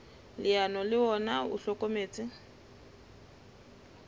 leano le ona o hlokometse